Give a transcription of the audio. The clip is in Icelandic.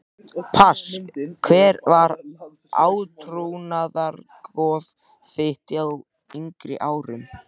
Pass Hver var átrúnaðargoð þitt á yngri árum?